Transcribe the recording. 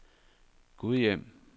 Gudhjem